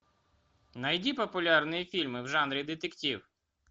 найди популярные фильмы в жанре детектив